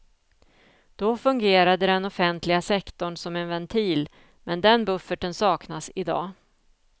Då fungerade den offentliga sektorn som en ventil, men den bufferten saknas i dag.